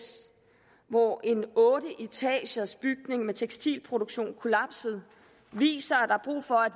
hvor en otteetagersbygning med tekstilproduktion kollapsede viser at der er brug for at